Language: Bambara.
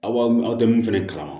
Aw aw tɛ min fɛnɛ kalama